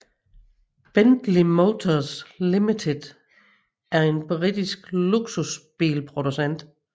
Bentley Motors Limited er en britisk luksusbilsproducent